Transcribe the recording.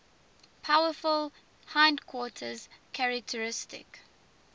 powerful hindquarters characteristic